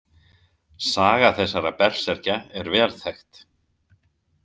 Saga þessara berserkja er vel þekkt.